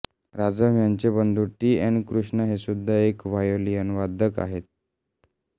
राजम ह्यांचे बंधू T N Krishnan हेसुद्धा एक व्हायोलिनवादक आहेत